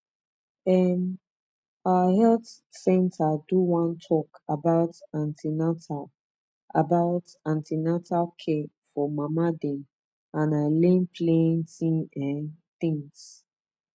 em our health center do one talk about an ten atal about an ten atal care for mama dem and i learn plenty um things